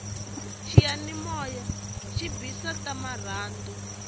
xiyanimoya xi bisa ta marhandu